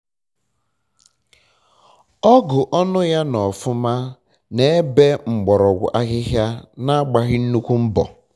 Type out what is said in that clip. ọgụ ọnụ ya nọ ọfụma na-ebe mgbọrọgwụ ahịhịa na-agbaghị nnukwu mbọ